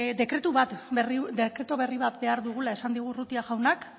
dekretu berri bat behar dugula esan digu urrutia jaunak